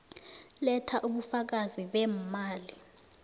letha ubufakazi beemali